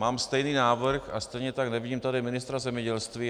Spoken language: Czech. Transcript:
Mám stejný návrh a stejně tak nevidím tady ministra zemědělství.